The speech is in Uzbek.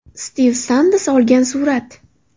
Stiv Sands olgan surat.